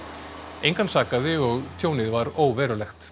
engan sakaði og tjónið var óverulegt